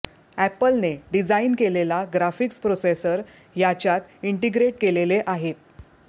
एपलने design केलेला graphics processor याच्यात integrate केलेले आहेत